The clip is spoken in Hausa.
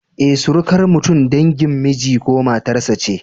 Eh, surukar mutum dangin miji ko matar sa ce